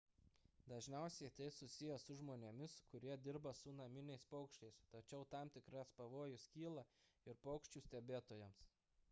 dažniausiai tai susiję su žmonėmis kurie dirba su naminiais paukščiais tačiau tam tikras pavojus kyla ir paukščių stebėtojams